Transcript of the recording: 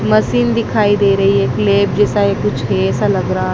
मसिन दिखाई दे रही है क्लैप जैसा है कुछ ये ऐसा लग रहा--